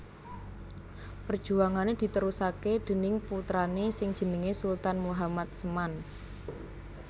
Perjuangane ditrusake déning putrane sing jenenge Sultan Muhammad Seman